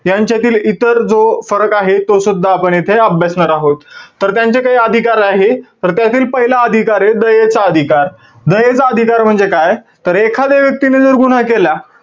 यांच्यातील इतर जो फरक आहे, तोसुद्धा आपण येथे अभ्यासणार आहोत. तर त्यांचे काही अधिकार आहेत. तर त्यातील पहिला अधिकारे, दयेचा अधिकार. दयेचा अधिकार म्हणजे काय, तर एखाद्या व्यक्तीने जर गुन्हा केला,